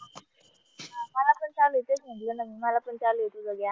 मला पण चालूये तुझं म्हणलं ना मला पण चालूये तुझं ज्ञान